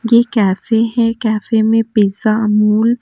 ये कैफ़े है कैफ़े में पिज़्ज़ा अमूल --